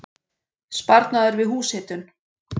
Sparnaður við húshitun